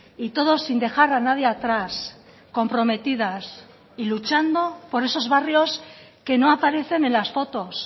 y todos sin dejar a nadie atrás comprometidas y luchando por esos barrios que no aparecen en las fotos